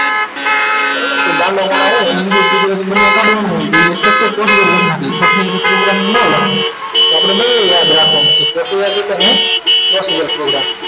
બરોબર કોઈ ગંડો માણસ વાળો હોય અને english ગુજરાતી બંને કાઢવાનું હોય તો એ structure પકડી બાકી એને programming ના આવડે તો આપણે બંને યાદ રાખવાનું છે પ્રક્રિયા અને possible programming